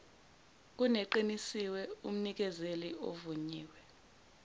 kuneqinisiwe umnikezeli ovunyiwe